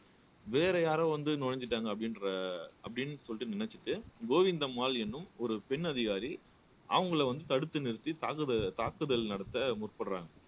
வேற யாரோ வந்து நுழைஞ்சுட்டாங்க அப்படின்ற அப்படின்னு சொல்லிட்டு நினைச்சுட்டு கோவிந்தம்மாள் எனும் ஒரு பெண் அதிகாரி அவங்களை வந்து தடுத்து நிறுத்தி தாக்கு தாக்குதல் நடத்த முற்படுறாங்க